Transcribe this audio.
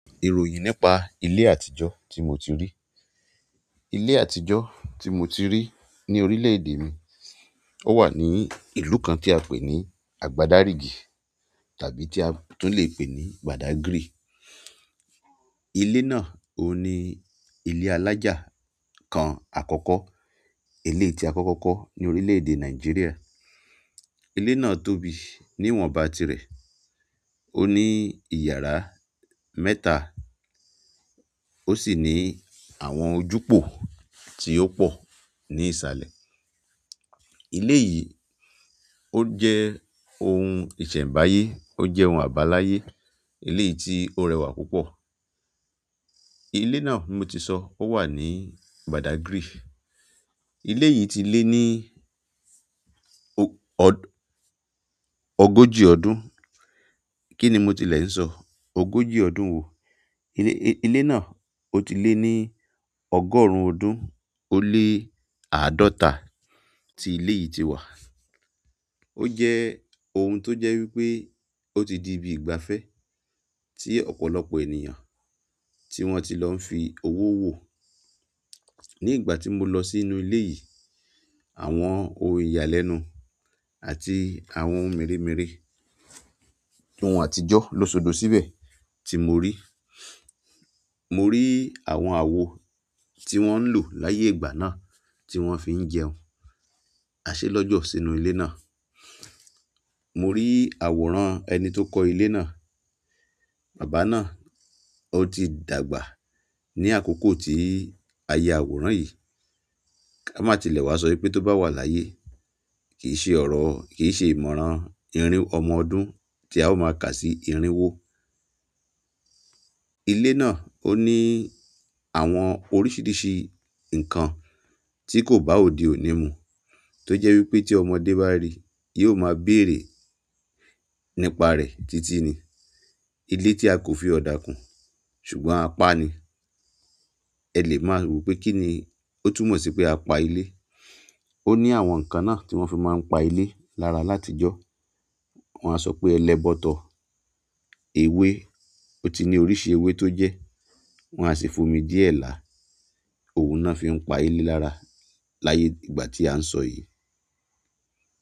Ìròyìn nípa ilé àtijọ́ tí mo ti rí. Ilé àtijọ́ tí mo ti rí ní orílẹ̀-èdè mi, ó wà ní ìlú kan tí a pè ní àgbàdá ríìgì tàbí tí a tún le pè ní badagry. Ilé náà ó ní ilé alájà kan àkọ́kọ́, ilé tí a kọ́kọ́ kọ́ ní orílẹ̀-èdè Nàìjíríà. Ilé náà tóbi ni iwọn bá tirẹ o ni iyara mẹ́ta osi ni àwọn ojú pò tí o pọ ni isalẹ. Ilé yìí ó jẹ́ ohun ìsẹ̀mbáyé, ó jẹ́ ohun àbáláyé, ilé yìí tí ó rẹwà púpọ̀. Ilé náà mi tí sọ, ó wà ní badagry. Ilé yìí ti lé ní ọg-ọg- ogójì ọdún. Kí ni mo tilẹ̀ ń sọ? Ogójì ọdún wo? Ilé, ilé náà ó ti lé ní ọgọ́rùn-ún ọdún ó lé àádọ́ta tí ilé yìí ti wà. Ó jẹ́ ohun tó jẹ́ wípé ó ti di ibi ìgbafẹ́ tí ọ̀pọ̀lọpọ̀ ènìyàn tí wón ti lọ ń fi owó wo. Ní ìgbà tí mo lọ sínú ilé yìí, àwọn ohun ìyàlẹ́nu àti àwọn ohun mèremère ohun àtijọ́ ló sọdọ̀ síbẹ̀ tí mo rí. Mori àwọn àwo tí wọn lò láyé ìgbà náà tí wọn fi ń jẹun, aṣe lọọjọ sí inú ilé náà. Mori àwòrán ẹni tí o kọ ilé náà bàbá náà oti dàgbà ni àkókò ti a yà àwòrán yí kama ti lẹ wá so pé tí o ba wà láyé kìí ṣe ìmọ̀ràn ọmọ ọdún ti a o ma kà sí irínwó. Ilé náà ó ní àwọn oríṣiríṣi nǹkan tí kò bá òdì ò ní mu, tó jẹ́ wípé tí ọmọdé bá ri, yóò máa béèrè nípa rẹ̀ títí ni. Ilé tí a kò fi ọ̀dà kún, ṣùgbọ́n a pa ni. Ẹ lè máa wí pé kí ni, ó túmọ̀ sí pé a pa ilé. Ó ní àwọn nǹkan náà tí wón fi máa ń pa ilé lára láti jọ. Wón a sọ pé ẹlẹ́bọ̀tọ̀, ewé, ó ti ní oríṣi ewé tó jẹ́. Wọn a sì omí díẹ̀ laa òun ná fi ń pa ilé lára láyé ìgbà ti a ń sọ yìí.